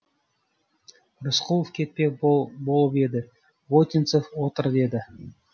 рысқұлов кетпек болып еді вотинцев отыр деді